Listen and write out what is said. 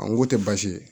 A n ko tɛ baasi ye